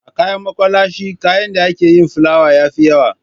A kayan makwalashe kayan da ake yi da filawa ya fi yawa